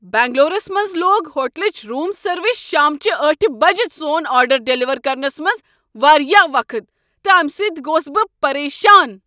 بنگلورس منز لوگ ہوٹلٕچ روٗم سروس شام چہ ٲٹھہ بج سون آرڈر ڈیلیور کرنس منٛز واریاہ وقت تہٕ امہ سۭتۍ گوس بہٕ پریشان۔